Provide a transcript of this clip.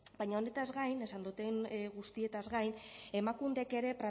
baina horretaz gain esan dodan guztiez gain emakundek ere